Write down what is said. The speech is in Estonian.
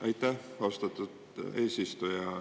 Aitäh, austatud eesistuja!